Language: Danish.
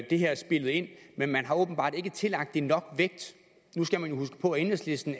det her spillet ind men man har åbenbart ikke tillagt det nok vægt nu skal man huske på at enhedslisten